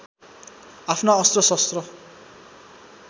आफ्ना अस्त्र शस्त्र